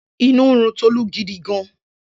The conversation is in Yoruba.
Inú ń run Tolú gidigan